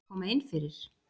Má ég koma innfyrir?